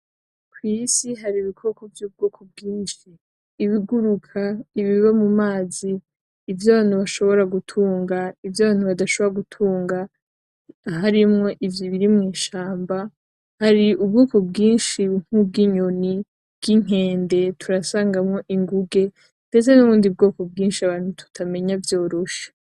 Kw'isi hari ibikoko vy'ubwoko bwinshi. Ibiguruka ibiba mu mazi. Ivy'abantu bashobora gutunga, ivy'abantu badashobora gutunga, harimwo ivyo biri mw'ishamba. Hari ububiko bwinshi bwinyoni, bwinkende turasangamwo ingunge ndetse nubundi bwoko bwinshi abantu tutamenya vyoroshe.